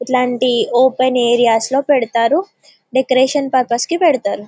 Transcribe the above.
ఇట్లాంటి open area లో పెడుతారు డెకరేషన్ పర్పస్ కి పెడుతారు.